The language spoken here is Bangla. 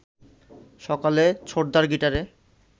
সকালে ছোটদার গিটারে